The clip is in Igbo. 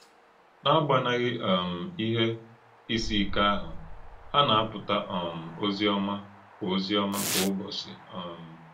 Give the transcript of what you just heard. N’agbànàghị um íhè ìsì íké áhụ̀, hà na-àpùtà um òzì ọ̀mà kwá òzì ọ̀mà kwá ụ̀bọ̀chí. um